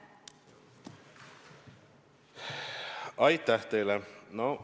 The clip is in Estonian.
Aitäh teile!